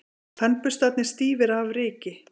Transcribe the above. Tannburstarnir stífir af ryki.